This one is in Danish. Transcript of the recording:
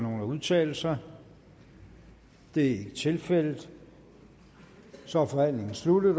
nogen at udtale sig det er ikke tilfældet så er forhandlingen sluttet